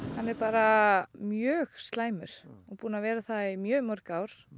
hann er bara mjög slæmur og búinn að vera það í mjög mörg ár